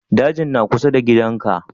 Dajin na kusa da gidan ka?